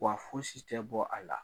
Wa fosi tɛ bɔ a la.